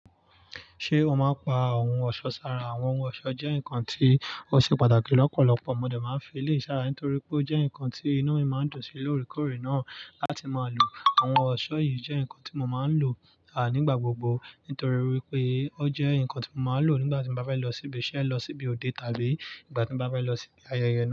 Ṣé o máa ń pa ohun ọ̀ṣọ́ sára? Àwọn ohun ọ̀ṣọ́ jẹ́ nǹkan tí ó ṣe pàtàkì lọ́pọ̀lọpọ̀. Mo dẹ̀ máa ń fi eléyìí sára nítorí pé ó jẹ́ nǹkan tí iná mi máa ń dùn sí lóòrèkóòrè náà láti máa lò. Àwọn ọ̀ṣọ́ yìí jẹ́ nǹkan tí mo máa ń lò à nígbà gbogbo nítorí wípé ó jẹ́ nǹkan tí mo máa lò nígbà tí mo bá bá ń lọ síbi iṣẹ́, lọ síbi òde tàbí ìgbà tí mo bá fẹ́ lọ síbi ayẹyẹ náà.